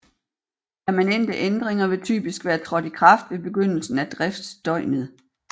Permanente ændringer vil typisk være trådt i kraft ved begyndelsen af driftsdøgnet